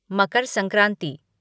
Makar Sankranti